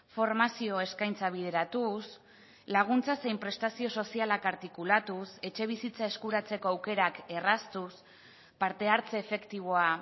formazio eskaintza bideratuz laguntza zein prestazio sozialak artikulatuz etxebizitza eskuratzeko aukerak erraztuz parte hartze efektiboa